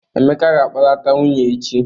Emeka ga-akpọlata nwunye echi.